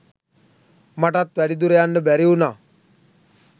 මට වැඩි දුර යන්න බැරි වුණා.